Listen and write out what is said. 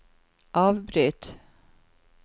avbryt